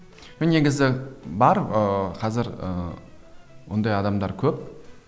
мен негізі бар ыыы қазір ы ондай адамдар көп